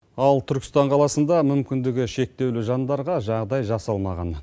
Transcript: ал түркістан қаласында мүмкіндігі шектеулі жандарға жағдай жасалмаған